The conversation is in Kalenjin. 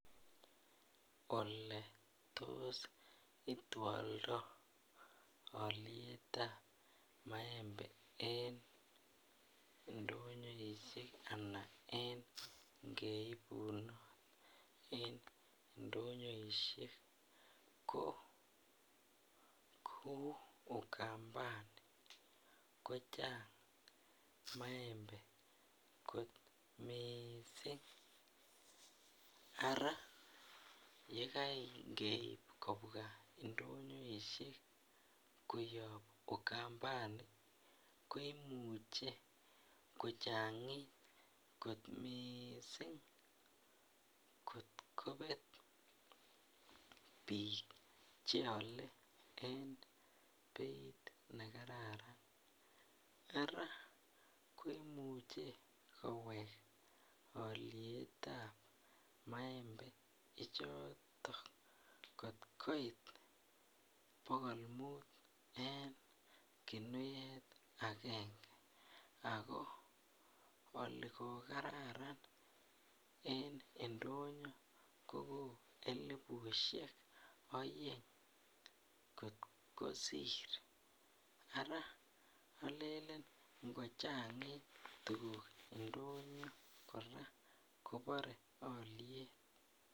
Ole tos itwoldo olietab maembe en ndonyoishek anan en geibun en ndonyoishek ko kou ukambani kochang' maembe kot mising' ara yekangeib kobwa ndonyoishek koyop ukambani ko imuche kochang'it kot mising' kor kobet biik cheole en beit nekararan ara kimuche kowek olietab maembe ichoto kotkoit bokol muut en kimyet agenge ako oli kokararan en ndonyo ko elibusiek oeng' kot kosir ara olenen ngochang'it tukuk ndoyo kora kobore oliet